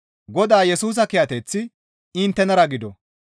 Godaa Yesusa kiyateththi inttenara gido.